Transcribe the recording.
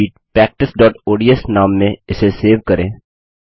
spreadsheet practiceओडीएस नाम से इसे सेव करें